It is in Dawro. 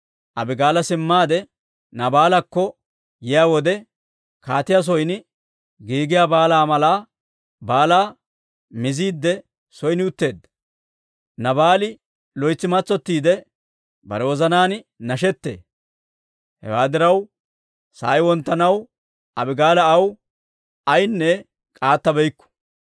Abigaala simmaade Naabaalakko yiyaa wode, kaatiyaa son giigiyaa baalaa mala baalaa miziidde son utteedda; Naabaali loytsi matsottiide, bare wozanaan nashettee. Hewaa diraw, sa'ay wonttanaw, Abigaala aw ayaanne k'aattabeykku.